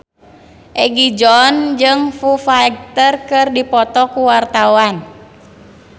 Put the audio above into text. Egi John jeung Foo Fighter keur dipoto ku wartawan